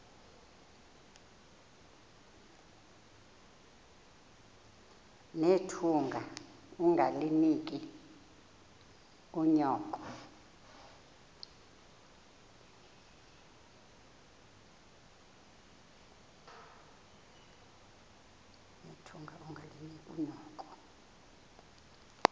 nethunga ungalinik unyoko